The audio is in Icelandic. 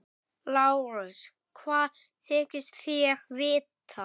LÁRUS: Hvað þykist þér vita?